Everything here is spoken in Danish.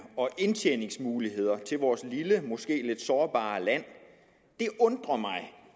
og indtjeningsmuligheder til vores lille måske lidt sårbare land og det undrer mig